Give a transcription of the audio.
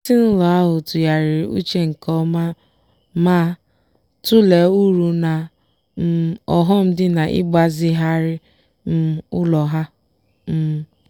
ezinụlọ ahụ tụgharịrị uchenke ọma ma-tụlee uru na um ọghọm dị n'ịgbazigharị um ụlọ ha. um